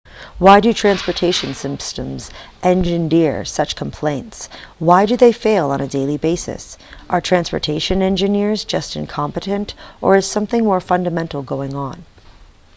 why do transportation systems engender such complaints why do they fail on a daily basis are transportation engineers just incompetent or is something more fundamental going on